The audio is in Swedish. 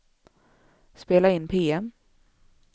spela in PM